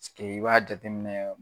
i b'a jateminɛ